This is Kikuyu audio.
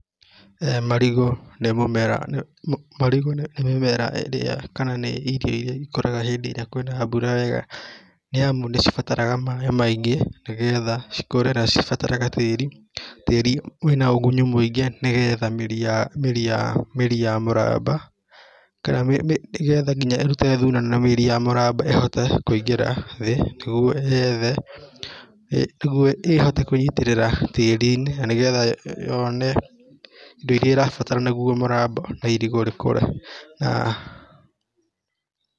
Marigũ nĩ mũmera, marigũ nĩ mĩmera ĩrĩa kana nĩ irio iria ikũraga hĩndĩ ĩrĩa kwĩna mbura wega nĩ amu nĩ cibataraga maĩ maingĩ nĩgetha cikũre na cibatare ga tĩri, tĩri wĩna ũgunyu mũingĩ nĩgetha mĩri ya, mĩri ya mũramba kana nĩgetha nginya ĩrute thuna na mĩri ya mũramba ĩhote kũingĩra thĩ nĩguo yethe, nĩguo ĩhote kwĩnyitĩrĩra tĩri-inĩ na nĩgetha yone indo iria ĩrabatara nĩguo mũramba na irigũ rĩkũre na..